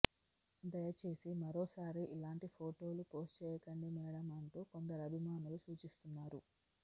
దయచేసి మరోసారి ఇలాంటి ఫోటోలు పోస్టు చేయకండి మేడమ్ అంటూ కొందరు అభిమానులు సూచిస్తున్నారు